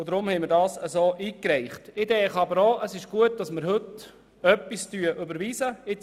Ich denke aber, dass es gut ist, wenn wir heute überhaupt etwas überweisen können.